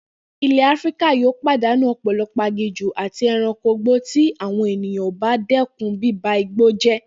Ilè̩ Áfíríkà yóò pàdánù ò̩pò̩lo̩pò̩ aginjù àti e̩ranko igbó tí àwo̩n ènìyàn ò bá dé̩kun bíba igbó jé̩